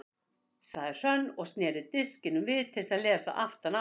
sagði Hrönn og sneri disknum við til að lesa aftan á hann.